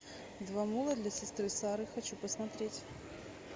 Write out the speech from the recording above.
два мула для сестры сары хочу посмотреть